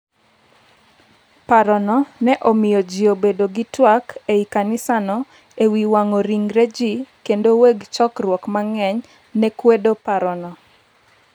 paro no ne omiyo ji obedo gi twak ei kanisano e wi wang’o ringre ji, kendo weg chokruok mang’eny ne kwedo parono.